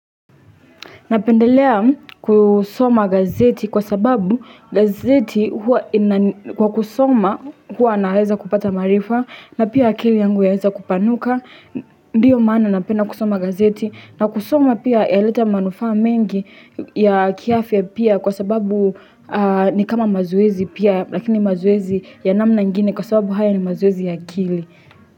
Napendelea kusoma gazeti kwa sababu gazeti hua ina kwa kusoma hua naweza kupata maarifa na pia akili yangu yaweza kupanuka Ndiyo maana napenda kusoma gazeti na kusoma pia yaleta manufaa mengi ya kiafya pia kwa sababu ni kama mazoezi pia Lakini mazoezi ya namna ingine kwa sababu haya ni mazoezi ya akili.